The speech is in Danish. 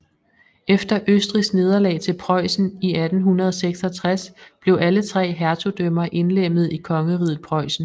Efter Østrigs nederlag til Preussen i 1866 blev alle tre hertugdømmer indlemmet i Kongeriget Preussen